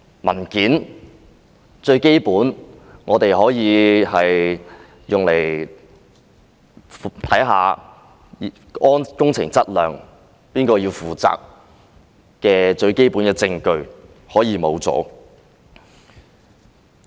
文件是最基本可以用來查看工程質量和誰要負責的最基本證據，竟然可以消失。